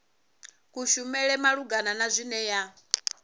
kushumele malugana na zwine ya